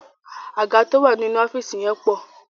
Àga tó wà nínú ọ́fíìsì yẹn pọ̀.